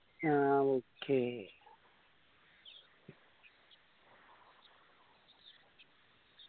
ആ okay